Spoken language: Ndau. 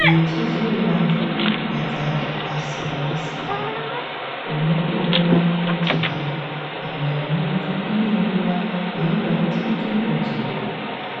Mitezo yevanhu inorwadza zvakasiyanasiyana, unotoona kutoti hai nyama yemuntu inenguwa yeinoda kuti itombotodzorora,